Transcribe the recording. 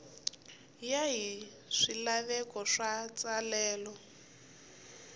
ya hi swilaveko swa matsalelo